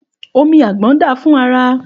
Òmí àgbón dà fún àrá.